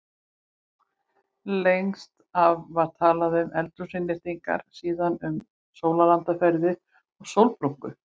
Lengst af var talað um eldhúsinnréttingar, síðan um sólarlandaferðir og sólbrúnku.